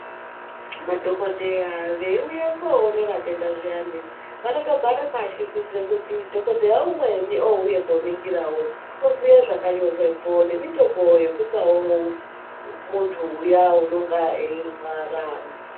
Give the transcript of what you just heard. Madhokoteya vaiuye koona vatenda zviyane vanotogare pashi kuitira kuti dhokoteya umweni ouya koningirawo oziye zvakanyorwepo nemitombo yekupawo muntu uya anenge airwara .